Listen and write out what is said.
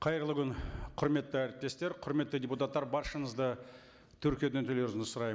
қайырлы күн құрметті әріптестер құрметті депутаттар баршаңызды тіркеуден өтулеріңізді сұраймын